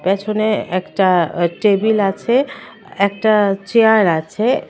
প্যাছনে একটা টেবিল আছে একটা চেয়ার আছে .